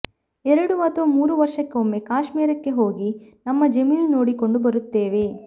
ಎರಡು ಅಥವಾ ಮೂರು ವರ್ಷಕ್ಕೆ ಒಮ್ಮೆ ಕಾಶ್ಮೀರಕ್ಕೆ ಹೋಗಿ ನಮ್ಮ ಜಮೀನು ನೋಡಿಕೊಂಡು ಬರುತ್ತೇವೆ